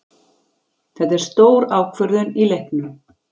Þetta er stór ákvörðun í leiknum.